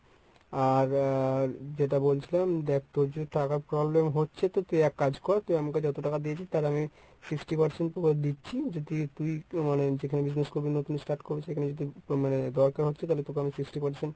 আর আহ যেটা বলছিলাম দেখ তোর যদি টাকার problem হচ্ছে তো তুই এক কাজ কর তুই আমাকে যতটাকা দিয়েছিস তার আমি sixty percent তোকে দিচ্ছি যদি তুই আহ মানে যেখানে business করবি নতুন start করবি সেখানে যদি মানে দরকার হচ্ছে তাহলে তোকে আমি sixty percent